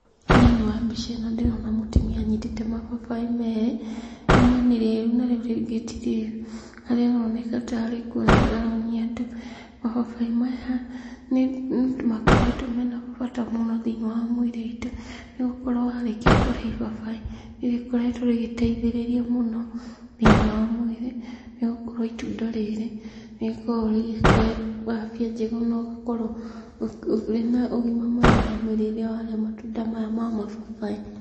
Thĩinĩ wa mbica ĩno ndĩrona mũtumia anyitĩte mababaĩ merĩ. Rimwe nĩ rĩru na rĩu rĩngĩ ti rĩru, harĩa aroneka ta arĩ kũonia aronia andũ. Mababaĩ maya nĩmakoretwo mena bata mũno thĩ-inĩ wa mwĩrĩ witũ, nĩgũkorwo warĩkia kũrĩa ibabai nĩrĩgĩkoretwo rĩgĩteithĩrĩria mũno thĩ-ini wa mwĩrĩ, nĩgũkorwo itunda rĩrĩ nĩrĩkoragwo rigĩkũhe afya njega, na ũgakorwo ũrĩ na ũgima mwega wa mwĩrĩ rĩrĩa warĩa matunda maya ma mababaĩ.